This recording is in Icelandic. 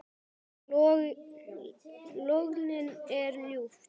Lognið er ljúft.